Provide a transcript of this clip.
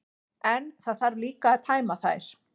En það þarf líka að tæma þær.